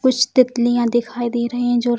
कुछ तितलियाँ दिखाई दे रहे है जो --